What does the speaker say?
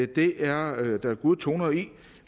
det er der gode toner i